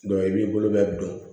i b'i bolo bɛ don